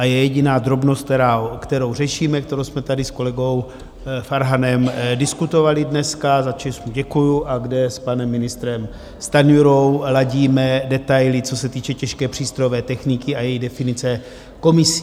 A je jediná drobnost, kterou řešíme, kterou jsme tady s kolegou Farhanem diskutovali dneska, za což mu děkuji, a kde s panem ministrem Stanjurou ladíme detaily, co se týče těžké přístrojové techniky a její definice komisí.